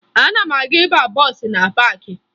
Ana m aga ịba bọọsụ na paakị